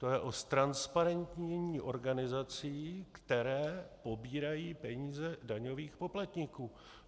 To je o ztransparentnění organizací, které pobírají peníze daňových poplatníků.